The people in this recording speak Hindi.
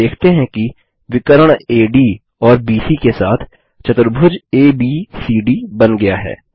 हम देखते हैं कि विकर्ण एडी और बीसी के साथ चतुर्भुज एबीसीडी बन गया है